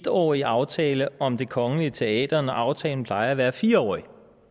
årig aftale om det kongelige teater når aftalen plejer at være fire årig